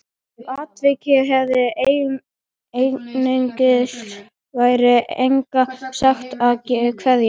Ef atvikin hefðu engin tengsl væri engin saga, engin keðja.